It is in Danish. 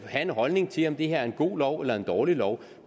have en holdning til om det her er en god lov eller en dårlig lov